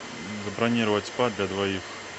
забронировать спа для двоих